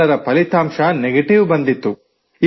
ಎಲ್ಲರ ಫಲಿತಾಂಶ ನೆಗೆಟಿವ್ ಬಂದಿತ್ತು